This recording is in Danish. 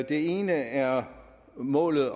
ene er målet